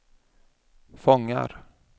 fångar